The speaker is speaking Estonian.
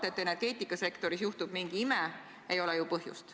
Arvata, et energeetikasektoris juhtub mingi ime, ei ole ju põhjust.